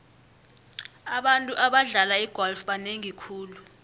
abantu abadlala igolf banengi khulu